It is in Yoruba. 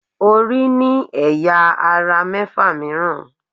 Orí ní ẹ̀yà - ara mẹ́fà mìíràn.